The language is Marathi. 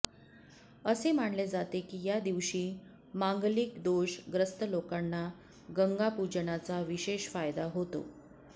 असे मानले जाते की या दिवशी मांगलिक दोष ग्रस्त लोकांना गंगा पूजनाचा विशेष फायदा होतो